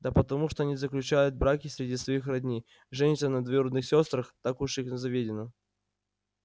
да потому что они заключают браки среди своих родни женятся на двоюродных сёстрах так уж их заведено